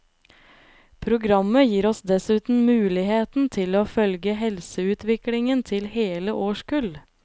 Programmet gir oss dessuten muligheten til å følge helseutviklingen til hele årskull.